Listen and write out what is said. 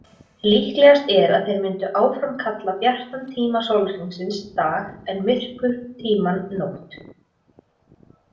Líklegast er að þeir mundu áfram kalla bjartan tíma sólarhringsins dag en myrkurtímann nótt.